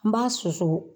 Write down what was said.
An b'a susu